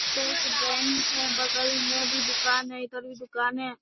State Bank है बगल में भी दूकान है इधर भी दूकान है।